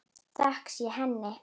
Þökk sé henni.